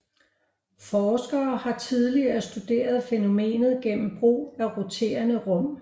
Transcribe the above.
Forskere har tidligere studeret fænomenet gennem brug af roterende rum